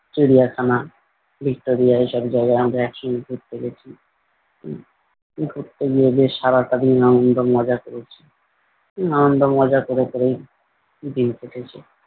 চিড়িয়াখানা, ভিক্টরীয়া এসব জায়গায় আমরা এক সঙ্গে ঘুরতে গেছি। হম উহ ঘুরতে গিয়ে বেশ সারাটা দিন আনন্দ মজা করেছি আনন্দ মজা করে করেই দিন কেটেছে।